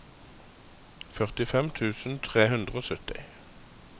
førtifem tusen tre hundre og sytti